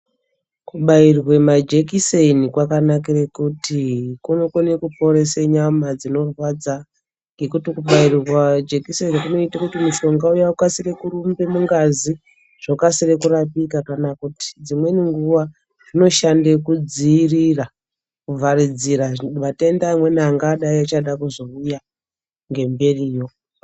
Kubairwe majikiseni kwakanakire kuti kunokone kuporese nyama dzinorwadza, ngekuti kubairwa jekiseni kunoita kuti mushonga uya ukasike kurumba mungazi zvokasire kurapika ,kana kuti dzimweni nguwa zvinoshande kudziirira ,kuvharidzira matenda amweni andadai achada kuzouya ,ngemberiyo.